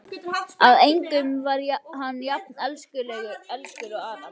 Að engum var hann jafn elskur og Ara.